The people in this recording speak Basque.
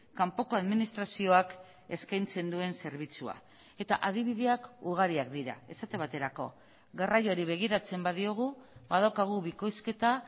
kanpoko administrazioak eskaintzen duen zerbitzua eta adibideak ugariak dira esate baterako garraioari begiratzen badiogu badaukagu bikoizketa